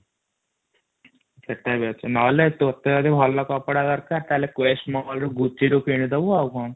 ନହେଲେ ଟାତ ଯଜି ଭଲ କପଡ଼ା ଦରକାର ତାହେଲେ କ୍ରିସ ମହଲରୁ କିନିଦବୁ ଆଉ କ'ଣ?